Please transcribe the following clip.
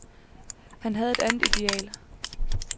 Han havde et andet ideal.